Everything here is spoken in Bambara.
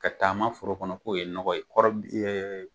Ka taama foro kɔnɔ k'o ye nɔgɔ ye. kɔrɔ